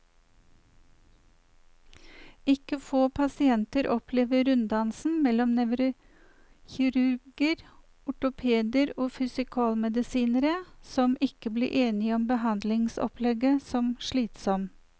Ikke få pasienter opplever runddansen mellom nevrokirurger, ortopeder og fysikalmedisinere, som ikke blir enige om behandlingsopplegget, som slitsom.